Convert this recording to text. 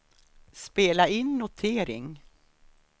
spela in notering